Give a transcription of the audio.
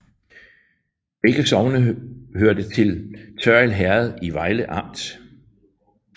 Begge sogne hørte til Tørrild Herred i Vejle Amt